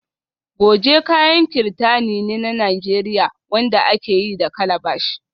Goje kayan kirtani ne na Najeriya wanda aka yi da calabash